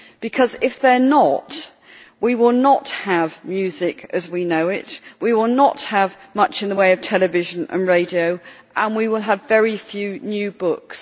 Because if they are not, we will not have music as we know it, we will not have much in the way of television and radio, and we will have very few new books.